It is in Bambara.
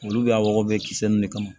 Olu bɛ y'a wɔɔrɔ bɛɛ kisɛ ninnu de kama